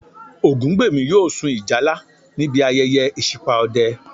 Ògúngbèmí yóò sun ìjálá níbi ayẹyẹ ìṣípà Ọdẹ